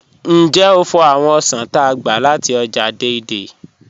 Njẹ́ o fò̩ awọn osàn t'á gba láti ọ́jà Dei-Dei?